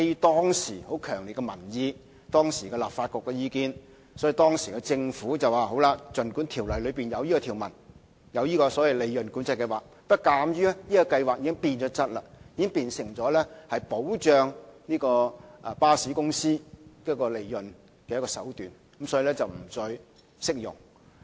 當時，基於強烈的民意和當時立法局的意見，政府表示儘管《條例》載有關乎計劃的條文，鑒於計劃已經變質，變成保障巴士公司利潤的手段，因此計劃不再適用於專營權。